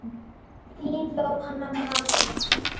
Þín Jóhanna María.